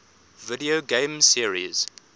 video game series